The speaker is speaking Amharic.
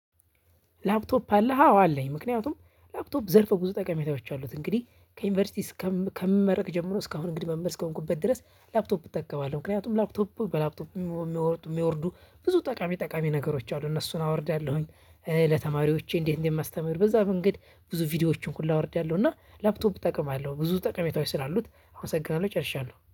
ላፕቶፕ አለ አዎ አለኝ ምክንያቱም ላፕቶፕ ዘርፈ ብዙ ጠቃሜታዎች አሉት። እንግዲህ ከዩኒቨርሲቲ ከምመረቅ ጀምሮ እስካሁን እንግዲህ መምህር እስከሆንኩበት ድረስ ላፕቶፕ እጠቀማለሁ። ምክንያቱም ላፕቶፕ በላፕቶፕ የሚወርዱ የሚወርዱ ብዙ ጠቃሚ ጠቃሚ ነገሮች አሉ እነሱን አወርዳለሁኝ። ለተማሪዎቼ እንዴት እንደማስተምህር በዛ መንገድ ብዙ ቪዲዮዎችን ኩላ አወርዳለሁ። እና ላፕቶም እጠቅማለሁ ብዙ ጠቀሜታዎች ስላሉት አመሰግናለሁ ጨርሻለሁ